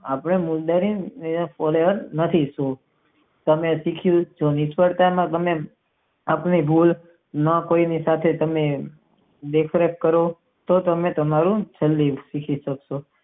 આપણે મુન્દ્રી જતા નથી તમે નિષ્ફળતા નું કામ કરો આપણે ભૂલ ના કોઈ સાથે મિત્ર કરો તે તમારું શિક્ષણ છે.